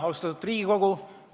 Austatud Riigikogu!